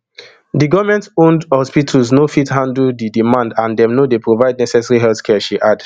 di goment owned hospitals no fit handle di demand and dem no dey provide necessary healthcare she add